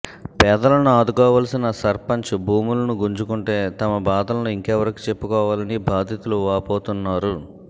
పేదలను ఆదుకోవాల్సిన సర్పంచ్ భూములను గుంజుకుంటే తమ బాధలను ఇంకెవరికి చెప్పుకోవాలని బాధితులు వాపోతున్నారు